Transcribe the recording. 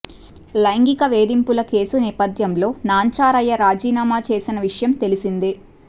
లైంగిక వేధింపుల కేసు నేపథ్యంలో నాంచారయ్య రాజీనామా చేసిన విషయం తెలిసిందే